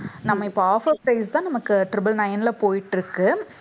நம்ம இப்ப offer price தான் நமக்கு triple nine ல போயிட்டு இருக்கு.